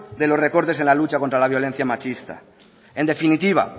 de los recortes en la lucha contra la violencia machista en definitiva